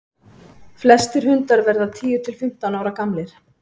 flestir hundar verða tíu til fimmtán ára gamlir